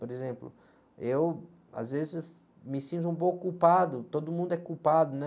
Por exemplo, eu às vezes me sinto um pouco culpado, todo mundo é culpado, né?